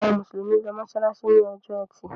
Àwọn Musulumi ló masalasi ní Ọjọ́ Ẹti.